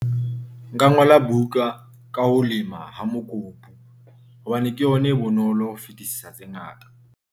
Nka ngola buka ka ho lema ha mokopu hobane ke yona e bonolo ho fetisisa tse ngata.